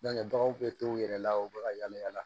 baganw bɛ to u yɛrɛ la u bɛ ka yala yala